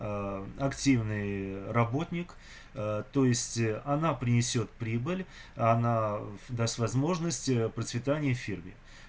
а активный работник то есть она принесёт прибыль она даст возможность процветание фирме